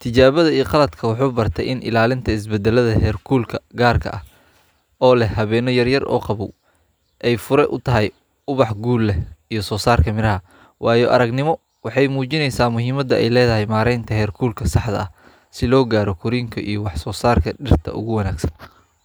tijawada qaladka waxu ina ilalinta isbadalada xarkulka garka ah oo lah hawana yar yar ay fura utahay ubax guul lah iyo sosarka mirah baraha wayo aragnimo waxay mujinaysah muhiimada aya ladahay barinta haarkulka saxda ah sii logaro gorinka iyo wax sosarka dirta ogu wagsan.